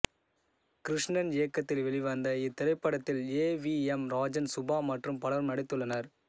கிருஷ்ணன் இயக்கத்தில் வெளிவந்த இத்திரைப்படத்தில் A V M Rajan Subha மற்றும் பலரும் நடித்துள்ளனர்